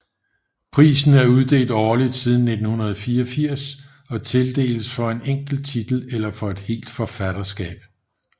Prisen er uddelt årligt siden 1934 og tildeles for en enkelt titel eller for et helt forfatterskab